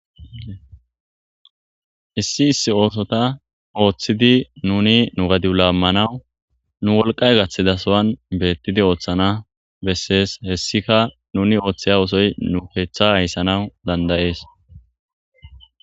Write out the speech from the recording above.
Issi issi oosota ooththidi nuni nu gadiu laammanawu nu wolqay gaththida sowan beettidi ooththana bessees. hessika nuni ooththeya wusoy nu keeththa hayssana dandayees.